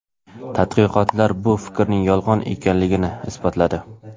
Tadqiqotlar bu fikrning yolg‘on ekanligini isbotladi.